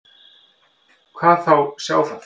Hvað þá sjá það.